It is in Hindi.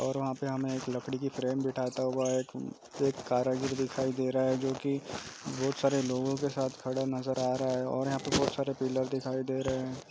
और वहाँ पे हमे एक लकड़ी की फ्रेम बिठाता हुआ एक एक कारीगर दिखाई दे रहा है जो की बहुत सारे लोगो के साथ खड़ा नजर आ रहा है और यहाँ पे बहुत सारे पिलर दिखाई दे रहे हैं।